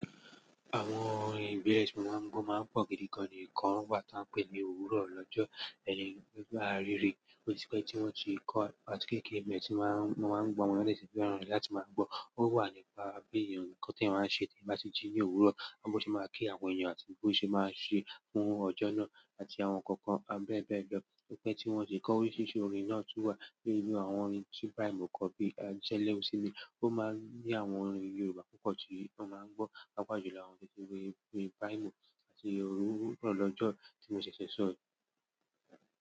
Àwọn orin gbẹ́rẹ́ẹ̀sì mọ̀ máa ń gbọ́ máa ń pọ̀ gidi gan ni ìkan wá tí a ń pè ní òwúrọ̀ lọ́jọ́, ẹni tó bá rí re, ó ti pẹ́ tí wọ́n ti kọ́, àti kéékèè mi tí máa ń, máa ń gbọ́ wọn nípa èsì feràn rẹ láti máa gbọ́. Ó wà nípa bí ènìyàn kọ́ tí a máa ń ṣe tí a bá ṣe jí ní òwúrọ̀, àbí ó ti máa kí àwọn èèyàn àti bí ó ṣe máa ń ṣe fún ọjọ́ náà àti àwọn nǹkan kan a bẹẹ bẹẹ bẹẹ. Òpẹ́ tí wọ́n ṣe kọ́ ó sì ṣe orin náà tún wà nínú àwọn orin tí brymo kọ́ bí i jẹleosinmi, ó máa ń ní àwọn orin Yorùbá púpọ̀ tí a máa ń gbọ́ papa ju lọ, àwọn biti orin brymo àti òwúrọ̀ lọ́jọ́ tí mo ṣẹ̀ṣẹ̀ sọ yi.